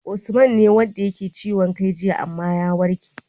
Usman ne wanda yake ciwon kai jiya amma ya warke